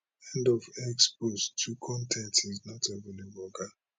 end of x post two con ten t is not available oga